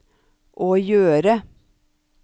å gjøre